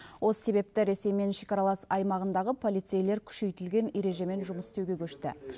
осы себепті ресеймен шекаралас аймағындағы полицейлер күшейтілген ережемен жұмыс істеуге көшті